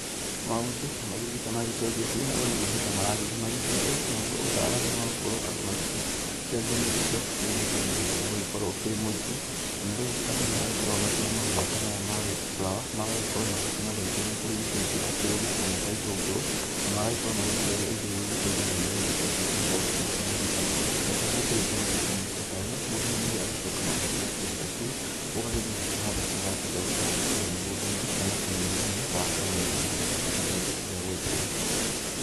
Maũndũ nĩ magĩthiĩte magĩcenjetiĩ ũria mahinda maragethĩĩ magĩthiĩte, naguo utaramu wa ũkworo andũ magĩciarithania indo methebametheba ũgagekorwo ukĩrĩ mũingĩ, na rĩu andũ nĩ magĩkoragwo makĩoya mahũa ta maya ma rose flower magagĩkorwo magĩkĩmathecerĩria kũrĩ indũ ingĩ ta kĩrũma, kana ta itũngũrũ, na magagĩkorwo magĩitĩrĩiria indũ irĩa igĩteithagia nĩgĩtha kĩndũ ta kĩu gĩgĩkorwo gĩkĩruta mĩruta na kĩo gĩakĩrĩkia gũkĩruta mĩruta ta ĩyo, mũndũ rĩu nĩrĩo agĩcokaga kuoya kĩndũ ta kĩu, ũgagĩthiĩ ũgakĩhanda to ũrenda gũkĩhanda kũrĩa mĩgũnda-inĩ kana tĩĩrĩ-inĩ wa kawaida nĩgĩtha kĩndũ kĩu gĩgĩtweke gĩa gũgĩkũra.